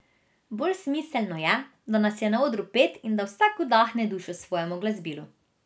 Bolj smiselno je, da nas je na odru pet, in da vsak vdahne dušo svojemu glasbilu.